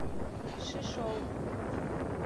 шишоу